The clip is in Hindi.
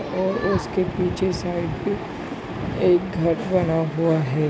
और उसके पीछे साइड भी एक घर बना हुआ है।